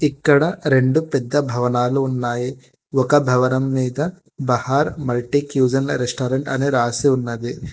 ఇక్కడ రెండు పెద్ద భవనాలు ఉన్నాయి ఒక భవనం మీద బహార్ మాల్టిక్యూషన్ ల రెస్టారెంట్ అని రాసి ఉన్నది.